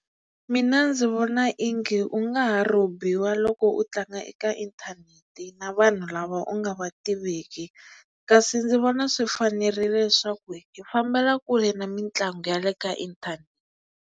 Mina ndzi vona ingi u nga ha robiwa loko u tlanga eka inthanete na vanhu lava u nga va tiveki kasi ndzi vona swi fanerile leswaku hi fambela kule na mitlangu ya le ka inthanete.